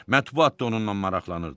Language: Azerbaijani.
Mətbuat da onunla maraqlanırdı.